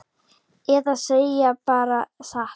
Eða segja bara satt?